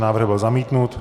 Návrh byl zamítnut.